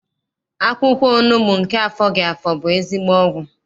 Akwụkwọ onugbu nke afọghị afọ bụ ezigbo ọgwụ.